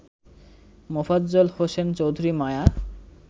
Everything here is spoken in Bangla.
মোফাজ্জল হোসেন চৌধুরী মায়া